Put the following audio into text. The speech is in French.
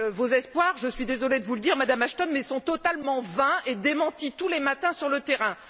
Vos espoirs je suis désolée de vous le dire, Madame Ashton sont donc totalement vains et démentis tous les matins sur le terrain.